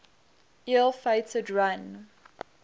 ill fated run